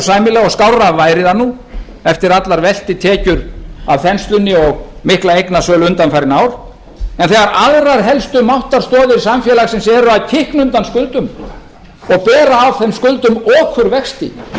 sæmilega og skárra væri það nú eftir allar veltitekjur af þenslunni og mikla eignasölu undanfarin ár en þegar aðrar helstu máttarstoðir samfélagsins eru að kikna undan skuldum og bera ákveðnum skuldum okurvexti